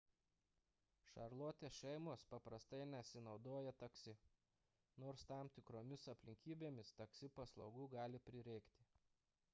šarlotės šeimos paprastai nesinaudoja taksi nors tam tikromis aplinkybėmis taksi paslaugų gali prireikti